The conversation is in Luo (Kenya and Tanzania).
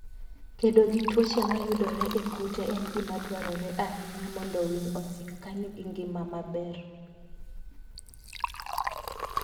Kedo gi tuoche mayudore e kute en gima dwarore ahinya mondo winy osik ka nigi ngima maber.